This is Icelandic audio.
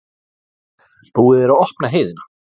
Búið að opna heiðina